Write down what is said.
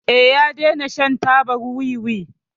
Eh, ya dena shan tabar wiwi.